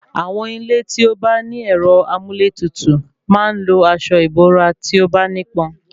Àwọn ilé tí ó bá ní ẹ̀rọ amúlétutù máa ń lo asọ ìbora tí o bá nípọn